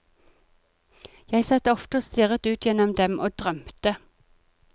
Jeg satt ofte og stirret ut gjennom dem og drømte.